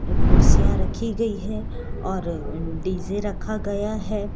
कुर्सियां रखी गई हैं और डी_जे रखा गया है।